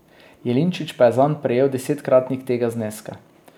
Jelinčič pa je zanj prejel desetkratnik tega zneska.